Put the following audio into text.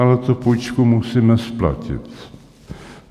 Ale tu půjčku musíme splatit.